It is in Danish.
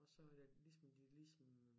Og så er det ligesom de ligesom